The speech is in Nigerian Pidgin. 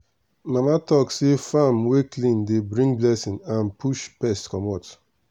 mama talk say farm wey clean dey bring blessing and push pest commot.